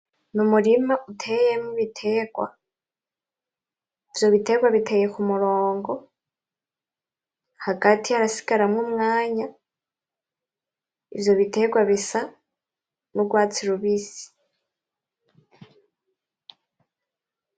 N’umurima uteyemwo ibiterwa ivyo biterwa biteye k’umurongo hagati harasigaramwo umwanya ivyo biterwa bisa n’urwatsi rubisi.